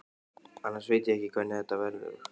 Annars veit ég ekki hvernig þetta verður.